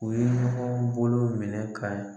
U ye ɲɔgɔn bolo minɛ ka .